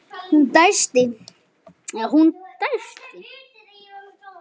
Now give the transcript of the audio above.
Hún dæsti.